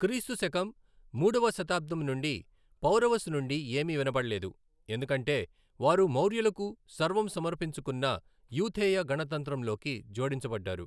క్రీస్తు శకం మూడవ శతాబ్దం నుండి పౌరవస్ నుండి ఏమీ వినబడలేదు, ఎందుకంటే వారు మౌర్యులకు సర్వం సమర్పించుకున్న యూథేయ గణతంత్రం లోకి జోడించబడ్డారు.